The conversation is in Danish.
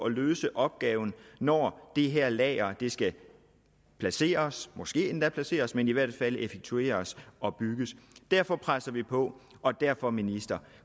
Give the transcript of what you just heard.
løse opgaven når det her lager skal placeres måske endda placeres men i hvert fald effektueres og bygges derfor presser vi på og derfor ministeren